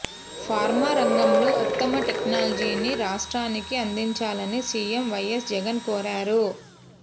pharma రంగంలో ఉత్తమ టెక్నాలజీని రాష్ట్రానికి అందించాలని సీఎం వైఎస్ జగన్ కోరారు